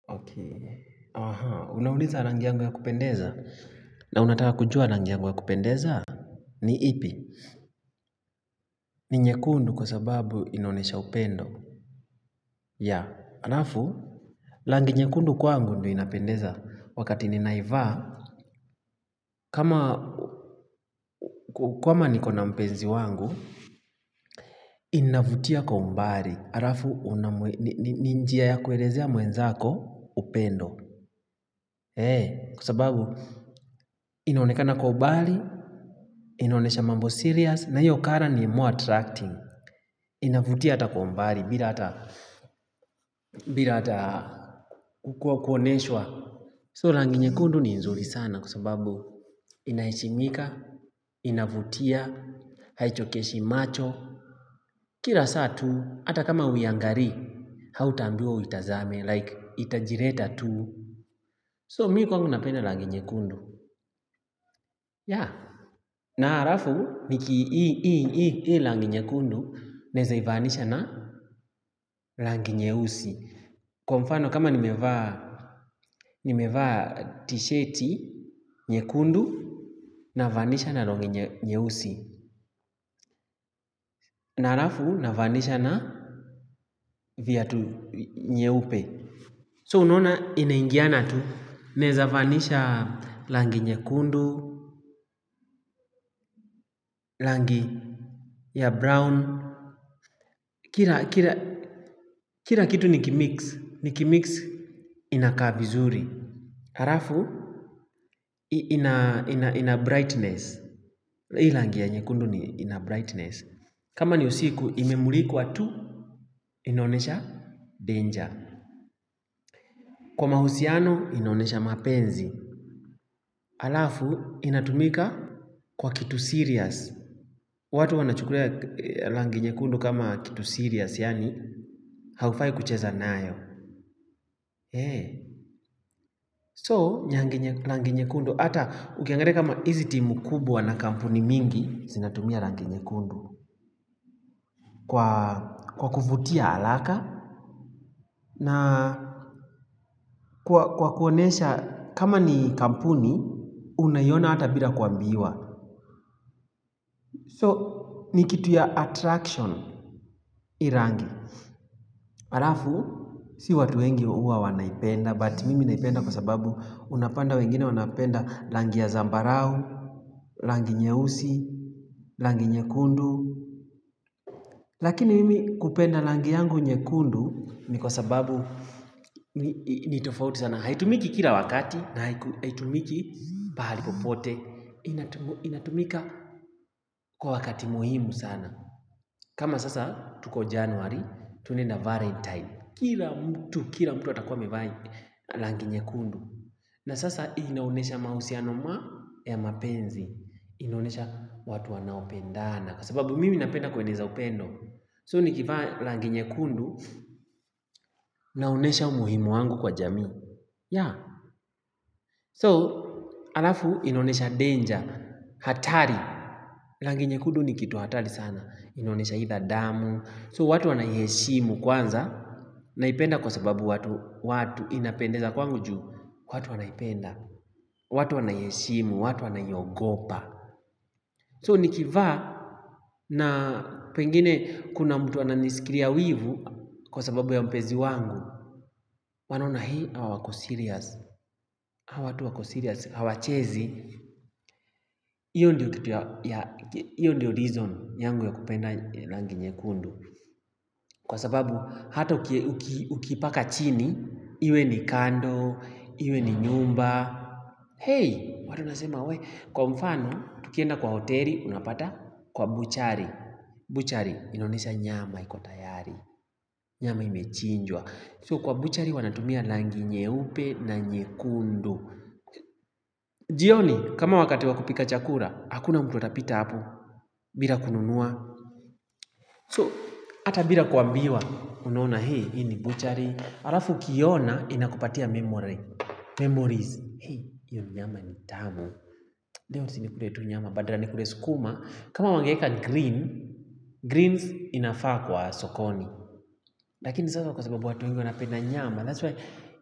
Aha, unauliza rangi yangu ya kupendeza, na unataka kujua rangi yangu ya kupendeza, ni ipi, ni nyekundu kwa sababu inaonyesha upendo. Yeah, halafu, rangi nyekundu kwangu ndio inapendeza wakati ninaivaa, kama nikona mpenzi wangu, inavutia kwa umbali. Halafu, ni njia ya kuelezea mwenzako upendo. Eeh, kwa sababu, inaonekana kwa umbali, inaonyesha mambo serious, na hiyo colour ni more attracting. Inavutia hata kwa umbali, bila hata kukuwa kuonyeshwa. So, rangi nyekundu ni nzuri sana, kwa sababu, inaheshimika, inavutia, haichokeshi macho. Kila saa tu, hata kama hauiangalii, hautaambiwa uitazame, like, itajileta tu. So mimi kwangu napenda rangi nyekundu. Yeah, na halafu niki hii rangi nyekundu nawezaivaanisha na rangi nyeusi. Kwa mfano kama nimevaa t-shirti nyekundu navaanisha na longi nyeusi. Na halafu navaanisha na viatu nyeupe. So unona inaingiana tu naweza vaanisha rangi nyekundu, langi ya brown. Kila kitu niki-mix. Niki-mix inakaa vizuri. Halafu ina brightness. Hii rangia ya nyekundu ni ina brightness. Kama ni usiku imemulikwa tu inaonesha danger. Kwa mahusiano inaonyesha mapenzi. Halafu inatumika kwa kitu serious. Watu wanachukulia rangi nyekundu kama kitu serious. Yani haufai kucheza nayo. So, nyangi nye rangi nyekundu, hata ukiangalia kama hizi timu kubwa na kampuni mingi, zinatumia rangi nyekundu Kwa kuvutia haraka, na kwa kuonyesha kama ni kampuni, unaiona hata bila kuambiwa So, ni kitu ya attraction hii rangi halafu, si watu wengi huwa wanaipenda, but mimi naipenda kwa sababu unapanda wengine wanapenda rangi ya zambarau, rangi nyeusi, rangi nyekundu. Lakini mimi kupenda rangi yangu nyekundu ni kwa sababu nitofauti sana. Haitumiki kila wakati na haitumiki pahali popote. Inatumika kwa wakati muhimu sana. Kama sasa tuko january tunaenda valentine. Kila mtu, kila mtu atakuwa mevaa rangi nyekundu na sasa inaonyesha mahusiano ma ya mapenzi inaonyesha watu wanaopendana Kwa sababu mimi napenda kueneza upendo So ni kivaa rangi nyekundu Naonyesha umuhimu wangu kwa jamii Yeah So halafu inaonesha danger hatari rangi nyekundu ni kitu hatari sana inaonyesha either damu So watu wanaiheshimu kwanza Naipenda kwa sababu watu watu inapendeza kwangu juu watu wanaipenda watu wanaiheshimu, watu wanaiogopa So nikivaa na pengine kuna mtu ananisikilia wivu Kwa sababu ya mpenzi wangu wanaona hii hawa wako-serious Hawa tu wako-serious, hawachezi HIyo ndiyo reason yangu ya kupenda rangi nyekundu Kwa sababu hata uki ukiipaka chini iwe ni kando, iwe ni nyumba Hey, watu nasema wee Kwa mfano, tukienda kwa hoteli, unapata kwa buchari Butchery, inaonyesha nyama iko tayari Nyama imechinjwa So kwa butchery wanatumia rangi nyeupe na nyekundu jioni, kama wakati wakupika chakula Hakuna mtu atapita hapo bila kununua So, hata bila kuambiwa unaona hii, hii ni butchery Halafu ukiona, inakupatia memory Memories Hey, hiyo nyama ni tamu Leo sinikule tu nyama badala ya nikule sukuma kama wangeweka green Greens inafaa kwa sokoni Lakini sasa kwa sababu watu wengi wanapenda nyama That's why.